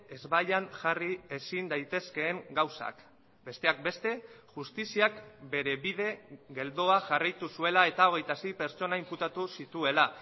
ezbaian jarri ezin daitezkeen gauzak besteak beste justiziak bere bide geldoa jarraitu zuela eta hogeita sei pertsona inputatu zituela